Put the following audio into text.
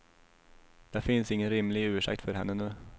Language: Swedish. Det finns ingen rimlig ursäkt för henne nu.